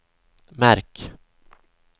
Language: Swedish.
märk